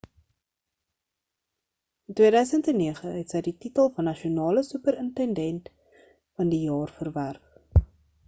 in 2009 het sy die titel van nasionale superintendent van die jaar verwerf